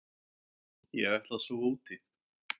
Ég ætla að sofa úti.